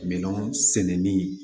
Minɛnw sɛnɛni